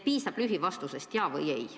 Piisab lühivastusest jah või ei.